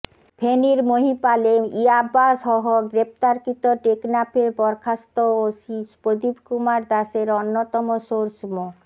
ফেনীর মহিপালে ইয়াবাসহ গ্রেপ্তারকৃত টেকনাফের বরখাস্ত ওসি প্রদীপ কুমার দাশের অন্যতম সোর্স মো